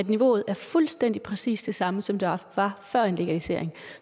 niveauet er fuldstændig præcis det samme som det var før legaliseringen